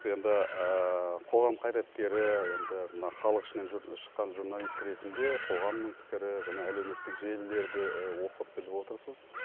енді қоғам қайраткері енді мына халық ішінен шыққан журналист ретінде қоғамның пікірі және әлеуметтік желілерді оқып біліп отырсыз